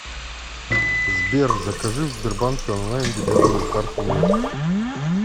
сбер закажи в сбербанке онлайн дебетовую карту мир